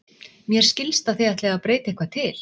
Mér skilst að þið ætlið að breyta eitthvað til?